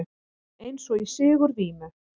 Eins og í sigurvímu.